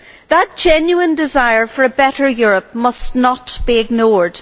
That genuine desire for a better Europe must not be ignored.